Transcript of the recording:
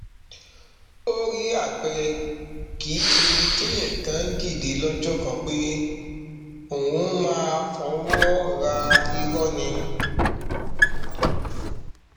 orí apẹrẹ kì í ṣe ibi téèyàn kàn ń dìde lọjọ kan pé òun máa fọwọ ra irọ ni